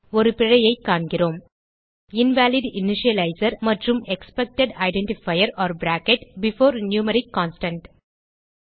ஒரு பிழையைக் காண்கிறோம் இன்வாலிட் இனிஷியலைசர் மற்றும் expected identifier or bracket before numeric constant